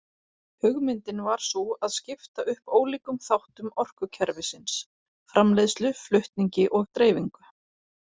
Hugmyndin var sú að skipta upp ólíkum þáttum orkukerfisins: framleiðslu, flutningi og dreifingu.